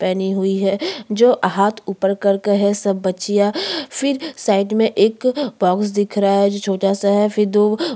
पहनी हुई है जो हाथ ऊपर कर के है सब बच्चियाँ फिर साइड में एक बॉक्स दिख रहा हैं जो छोटा सा फिर दू--